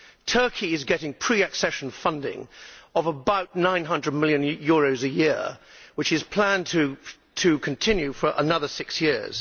Turkey is getting pre accession funding of about EUR900 million a year, which is planned to continue for another six years.